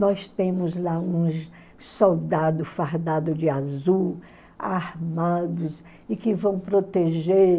Nós temos lá uns soldados fardados de azul, armados, e que vão proteger...